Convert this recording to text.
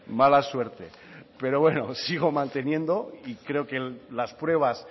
mala suerte pero bueno sigo manteniendo y creo que las pruebas